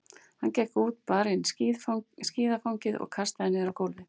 Hann gekk út, bar inn skíðafangið og kastaði niður á gólfið.